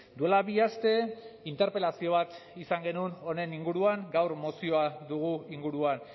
duela bi aste interpelazio bat izan genuen honen inguruan gaur mozioa dugu inguruan